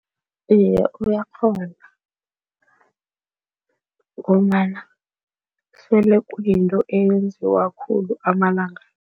Iye, uyakghona ngombana sele kuyinto eyenziwa khulu amalanga.